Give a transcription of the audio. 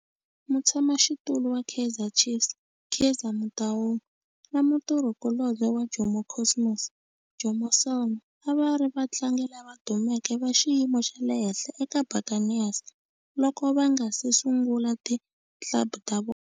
Mutshama xitulu wa Kaizer Chiefs Kaizer Motaung na mutirhi kulobye wa Jomo Cosmos Jomo Sono a va ri vatlangi lava dumeke va xiyimo xa le henhla eka Buccaneers loko va nga si sungula ti club ta vona.